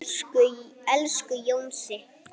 Elsku Jónsi.